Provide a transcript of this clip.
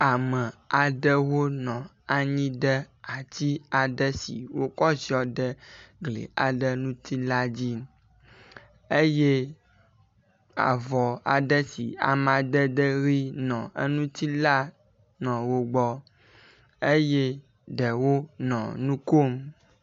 Ame aɖewo nɔ anyi ɖe ati aɖe si wokɔ ziɔ ɖe gli aɖe ŋuti la dzi eye avɔ aɖe si amadede ʋi nɔ eŋuti la nɔ wo gbɔ eye ɖewo nɔ nu kom.